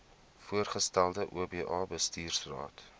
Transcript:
voorgestelde oba bestuursraad